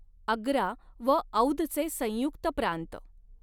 आग्रा व औधचे संयुक्त प्रांत